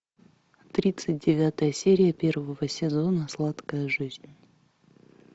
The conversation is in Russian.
тридцать девятая серия первого сезона сладкая жизнь